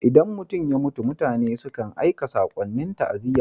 Idan mutum ya mutu, mutane sukan aika sakonnin ta'aziyya.